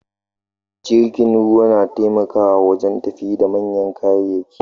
Jirgin ruwa nataimakawa wajen tafida manyan kayayyaki